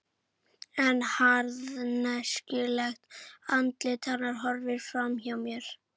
En harðneskjulegt andlit hennar horfir fram hjá mér.